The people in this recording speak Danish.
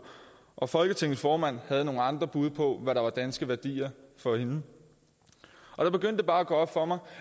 og folketingets formand havde nogle andre bud på hvad der var danske værdier for hende der begyndte det bare at gå op for mig